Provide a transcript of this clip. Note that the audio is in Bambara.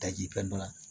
Daji fɛn dɔ la